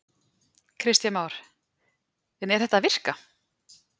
Kristján Már: En er þetta að virka?